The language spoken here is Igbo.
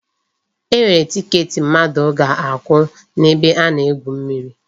E nwere tiket mmadụ ga-akwụ n'ebe a na-egwu mmiri.